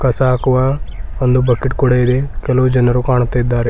ಕಸ ಹಾಕುವ ಒಂದು ಬಕೆಟ್ ಕೂಡ ಇದೆ ಕೆಲವು ಜನರು ಕಾಣುತ್ತಿದ್ದಾರೆ.